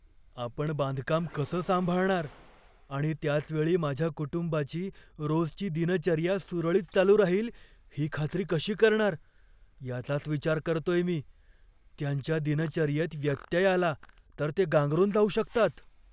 आपण बांधकाम कसं सांभाळणार आणि त्याचवेळी माझ्या कुटुंबाची रोजची दिनचर्या सुरळीत चालू राहील ही खात्री कशी करणार, याचाच विचार करतोय मी. त्यांच्या दिनचर्येत व्यत्यय आला तर ते गांगरून जाऊ शकतात.